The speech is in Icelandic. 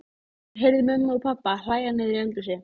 Hún heyrði mömmu og pabba hlæja niðri í eldhúsi.